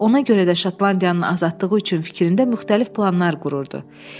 Ona görə də Şotlandiyanın azadlığı üçün fikrində müxtəlif planlar qururdu.